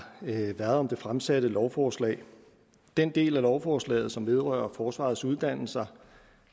været om det fremsatte lovforslag den del af lovforslaget som vedrører forsvarets uddannelser